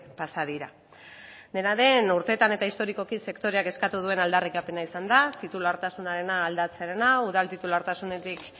pasa dira dena den urteetan eta historikoki sektoreak eskatu duen aldarrikapena izan da titulartasuna aldatzearena udal titulartasunetik